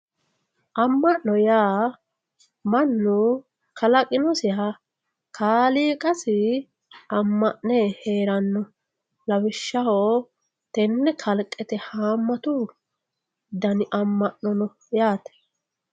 amma'no yaa mannu kalaqinonsaha kaaliiqqasi amma'ne heeranno lawishshaho tenne kalqete haammatu dani amma'no no yaate.